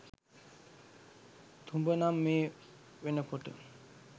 තුඹ නං මේ වෙනකොට